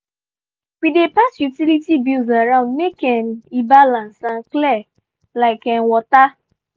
we dey pass utility bills around make um e balance and clear like um water.